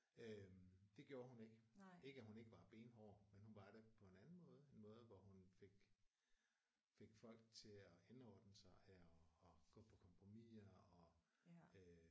Øh det gjorde hun ikke. Ikke at hun ikke var benhård men hun var det på en anden måde en måde hvor hun fik fik folk til at indordne sig her og gå på kompromiser og øh